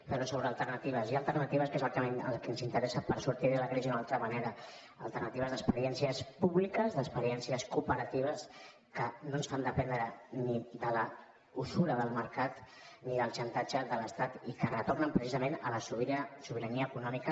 però sobre alternatives hi ha alternatives que és el que ens interessa per sortir de la crisi d’una altra manera alternatives d’experiències públiques d’experiències cooperatives que no ens fa dependre ni de la usura del mercat ni del xantatge de l’estat i que retornen precisament a la sobirania econòmica